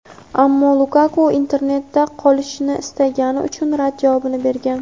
ammo Lukaku "Inter" da qolishni istagani uchun rad javobini bergan.